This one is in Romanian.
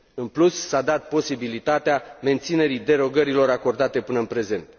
În plus, s a dat posibilitatea menținerii derogărilor acordate până în prezent.